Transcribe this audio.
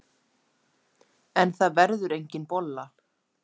En það verður engin bolla.